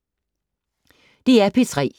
DR P3